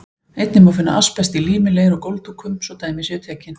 Einnig má finna asbest í lími, leir og gólfdúkum, svo dæmi séu tekin.